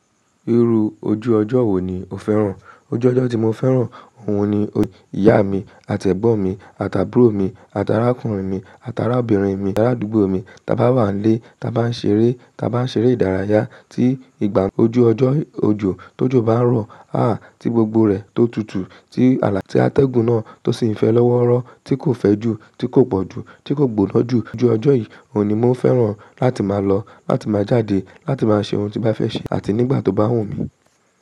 Irú ojú ọjọ́ wo ni o fẹ́ràn? Ojú ọjọ́ tí mo fẹ́ràn, òun ni ìyá mi àti ẹ̀gbọ́n mi àti àbúrò mi àti arákùnrin mi àti arábìnrin mi, ará àdúgbò mi. Tí a bá wà n lé, tí a bá ń ṣeré, tí a bá ń ṣeré ìdárayá tí ìgbà ojú ọjọ́ òjò tó jó bá ń rọ̀, há tí gbogbo rẹ̀ tó tutù, tí alá ti atẹ́gùn náà tó sì n fẹ́ lọ́wọ́rọ́ tí kò fẹ́ jù tí kò pọ̀ jù tí kò gbonaa jù ojú ọjọ́ yìí òun ni mo fẹ́ràn láti máa lọ, láti máa jáde, láti máa ṣe oun tí n bá fẹ́ ṣe àti nígbà tó bá wù mí.